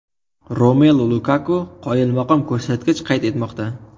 Romelu Lukaku qoyilmaqom ko‘rsatkich qayd etmoqda.